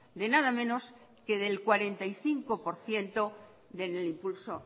de nada menos que del cuarenta y cinco por ciento del impulso